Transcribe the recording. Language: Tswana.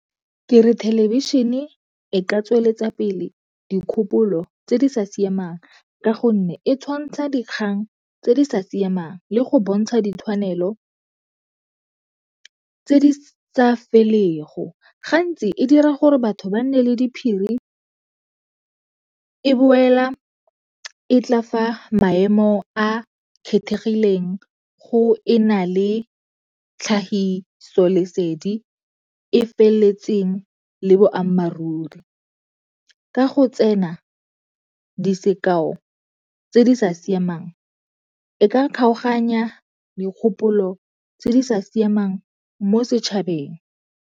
Ke re thelebišhene e ka tsweletsa pele dikgopolo tse di sa siamang ka gonne e tshwantsha dikgang tse di sa siamang le go bontsha ditshwanelo tse di sa felego. Gantsi e dira gore batho ba nne le diphiri, e boela e tla fa maemo a kgethegileng go e na le tlhagisolesedi e feleletseng le boammaaruri. Ka go tsena di sekao tse di sa siamang, e ka kgaoganya dikgopolo tse di sa siamang mo setšhabeng.